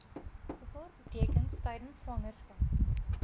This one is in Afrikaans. gevaartekens tydens swangerskap